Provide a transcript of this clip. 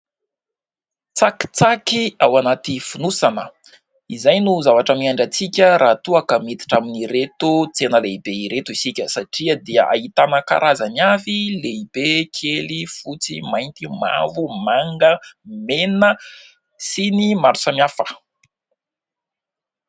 Tsakitsaky ao anaty fonosana, izay no zavatra miandry antsika raha toa ka miditra amin'ireto tsena lehibe ireto isika satria dia ahitana karazany avy lehibe, kely, fotsy mainty, mavo, manga, mena sy ny maro samihafa.